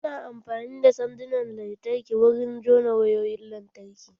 Ana amfani da sandunan lantarki wurin juna wayoyin lantarki